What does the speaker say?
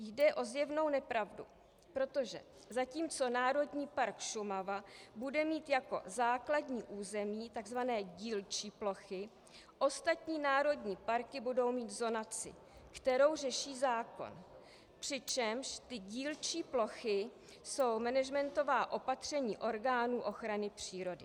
Jde o zjevnou nepravdu, protože zatímco Národní park Šumava bude mít jako základní území tzv. dílčí plochy, ostatní národní parky budou mít zonaci, kterou řeší zákon, přičemž ty dílčí plochy jsou managementová opatření orgánů ochrany přírody.